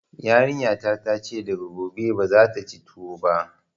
Yarinya ta ta ce daga gobe bazata ci tuwo ba